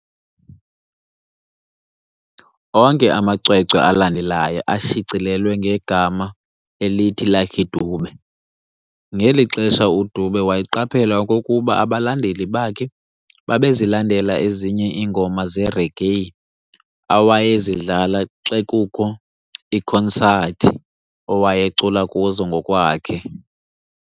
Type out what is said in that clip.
Onke amacwecwe alandelayo ashicilelwa ngema elithi "Lucky Dube". ngeli xesha uDube waqaphela okokuba abalandeli bakhe babezilandela ezinye iingoma zeregae awayezidlala xe kukho iikhonsathi wayecula kuzo ngokwakhe.